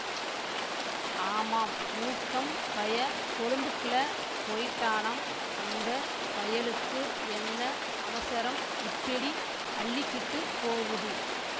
ஆமாம் மூக்கம் பய கொளும்புக்கில போயிட்டானாம் அந்த பயலுக்கு என்ன அவசரம் இப்பிடி அள்ளிக்கிட்டுப் போவுது